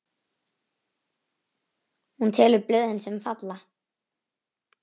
Hún telur blöðin, sem falla.